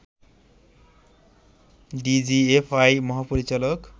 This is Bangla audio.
ডিজিএফআই মহাপরিচালক